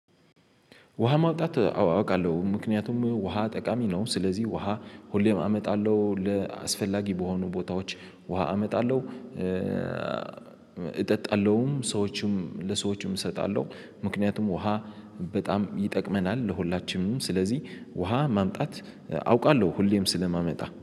ውሃ ማውጣት አውቃለ፤ ምክንያቱም ውሃ ጠቃሚ ነው። ስለዚህ ውሃ ሁሌም አመጣለ፤ ለአስፈላጊ በሆኑ ቦታዎች ውሃ እመጣለሁ። እጠጣለሁም፤ ሰዎችም ለሰዎችም እሰጣለሁ፤ ምክንያቱም ውሃ በጣም ይጠቅመናል ለሁላችንም። ስለዚህ ውሃ ማምጣት አውቃለሁ ሁሌም ስለማመጣ